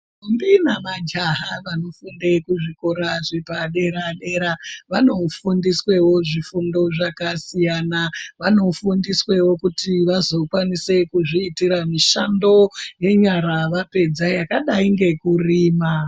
Ndombi nemajaha vanofundie zvikora zvepadera dera vanofundisweo zvifundo zvakasiyana vanofundisweo kuti vazokwanisao kuzviitire mishando yenyara vapedza yakadai nekurima.